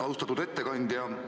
Austatud ettekandja!